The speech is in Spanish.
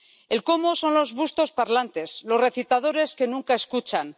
El cómo son los bustos parlantes, los recitadores que nunca escuchan.